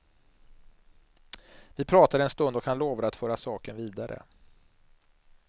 Vi pratade en stund och han lovade att föra saken vidare.